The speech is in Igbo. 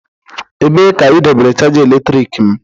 Ebee ka idobere chaja eletrik m?